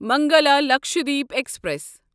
Mangala Lakshadweep express